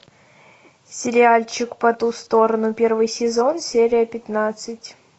сериальчик по ту сторону первый сезон серия пятнадцать